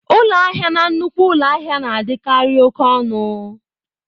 Ụlọ ahịa na nnukwu ụlọ ahịa na-adịkarị oke ọnụ.